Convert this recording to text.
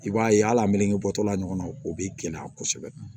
I b'a ye hali a meleketɔla ɲɔgɔn na o bɛ gɛlɛya kosɛbɛ